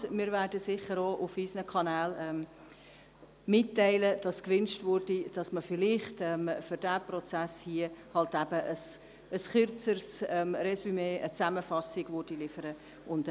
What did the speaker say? Wir werden sicher auch auf unseren Kanälen mitteilen, dass gewünscht wird, für diesen Prozess hier vielleicht ein kürzeres Resümee, eine Zusammenfassung geliefert zu erhalten.